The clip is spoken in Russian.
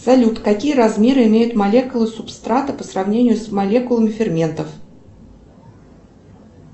салют какие размеры имеет молекулы субстрата по сравнению с молекулами ферментов